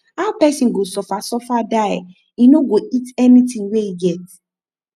how pesin go suffer sufer die e no go eat anthing wey e get